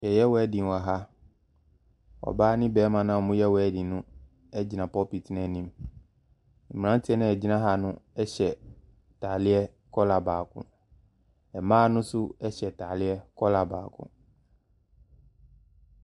Wɔreyɛ wedding wɔ ha. Ɔbaa ne barima a wɔreyɛ wedding no gyina pulpit no anim. Mmeranteɛ no a wɔgyina ha no hyɛ atareɛ kɔla baako. Mmaa no nso hyɛ ntareɛ kɔla baako.